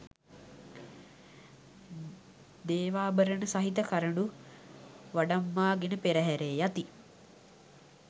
දේවාභරණ සහිත කරඬු වඩම්වා ගෙන පෙරහැරේ යති.